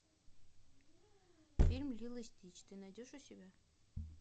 фильм лило и стич ты найдешь у себя